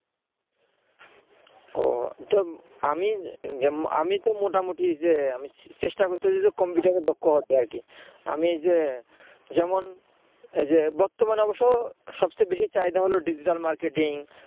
ও তো আমি তো মোটামুটি যে চেষ্টা করতেসি কম্পিউটারে দক্ষতা হওয়া যায় আমি যেমন এই যে যেমন বর্তমানে অবশ্য সবচেয়ে বেশি চাহিদা হল digital marketing